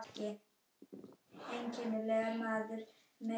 Litfrumurnar verja líkamann fyrir sólbruna og því fjölgar þeim á sumrum.